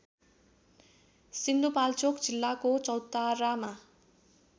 सिन्धुपाल्चोक जिल्लाको चौतारामा